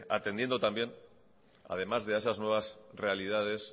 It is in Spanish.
atendiendo también además a esas nuevas realidades